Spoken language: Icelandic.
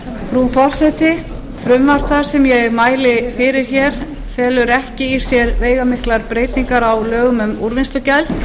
frú forseti frumvarp það sem ég mæli fyrir felur ekki í sér veigamiklar breytingar á lögum um úrvinnslugjald